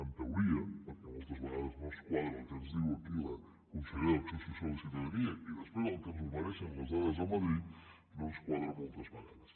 en teoria perquè moltes vegades no ens quadra el que ens diu aquí la consellera d’acció social i ciutadania i després el que ens ofereixen les dades de madrid no ens quadra moltes vegades